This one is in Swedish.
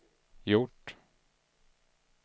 gjort